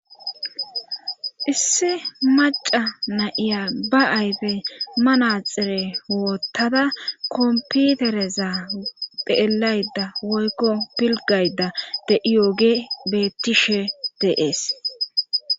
Issi maca na7iya ba ayfe manaxire woottada kompitereza dheelayda woykko pilgayda de iyooge bettishe deees.